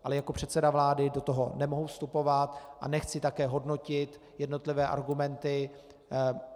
Ale jako předseda vlády do toho nemohu vstupovat a nechci také hodnotit jednotlivé argumenty.